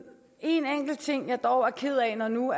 enkelt ting jeg dog er ked af når nu